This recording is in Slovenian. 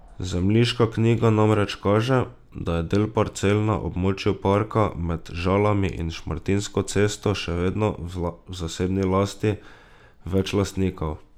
Zemljiška knjiga namreč kaže, da je del parcel na območju parka med Žalami in Šmartinsko cesto še vedno v zasebni lasti več lastnikov.